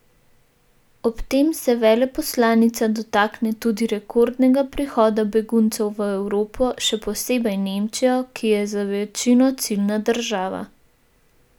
Ob tem se veleposlanica dotakne tudi rekordnega prihoda beguncev v Evropo, še posebej Nemčijo, ki je za večino ciljna država.